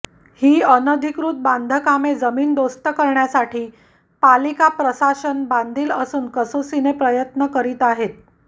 ही अनधिकृत बांधकामे जमीनदोस्त करण्यासाठी पालिका प्रशासन बांधील असून कसोशीने प्रयत्नही करीत आहे